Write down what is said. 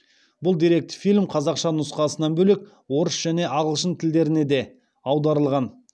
бұл деректі фильм қазақша нұсқасынан бөлек орыс және ағылшын тілдеріне де аударылған